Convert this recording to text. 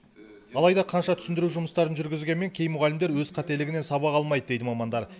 алайда қанша түсіндіру жұмыстарын жүргізгенмен кей мұғалімдер өз қателігінен сабақ алмайды дейді мамандар